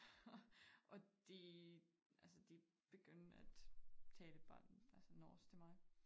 Og og de altså de begyndte at tale bare altså norsk til mig